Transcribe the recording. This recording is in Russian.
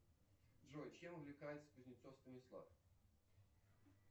джой чем увлекается кузнецов станислав